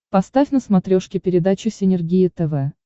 поставь на смотрешке передачу синергия тв